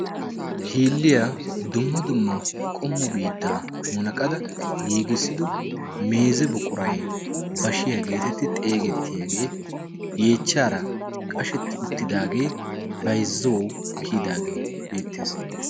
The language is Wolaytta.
Hiilliyaa dumma dumma qommu biittaa munaqada giigissido meeze buqurai bashiyaa geetettii xeegettiyaagee yeechchaara qashetti uttidaagee baizzou kiyidaagee beettees.